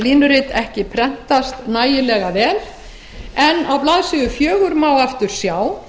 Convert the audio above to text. línurit ekki prentast nægilega vel en á blaðsíðu fjögur má aftur sjá